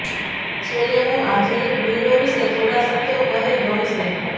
છેલ્લે હું આધુનિક વિન્ડો વિશે થોડા શબ્દો કહે ગમશે